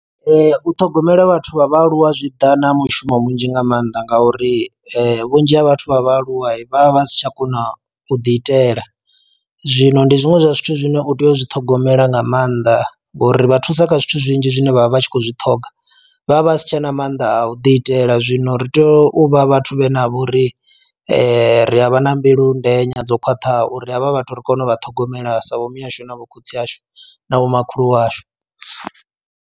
U ṱhogomela vhathu vha vhaaluwa zwi ḓa na mushumo munzhi nga maanḓa ngauri vhunzhi ha vhathu vha vhaaluwa vha vha vha si tsha kona u ḓi itela, zwino ndi zwiṅwe zwa zwithu zwine u tea u zwi ṱhogomela nga maanḓa ngori vha thusa kha zwithu zwinzhi zwine vhavha vha tshi khou zwi ṱhoga vhavha vha si tshena mannḓa a u ḓi itela zwino ri tea u vha vhathu vhe na vho ri ri a vha na mbilu ndenya dzo khwaṱhaho uri havha vhathu ri kone u vha ṱhogomela sa vho mihasho navho khotsi ashu na vho makhulu washu.